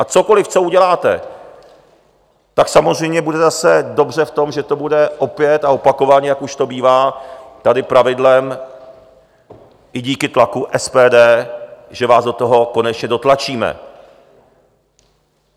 A cokoliv, co uděláte, tak samozřejmě bude zase dobře v tom, že to bude opět a opakovaně, jak už to bývá tady pravidlem, i díky tlaku SPD, že vás do toho konečně dotlačíme.